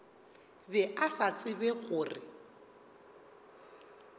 be a sa tsebe gore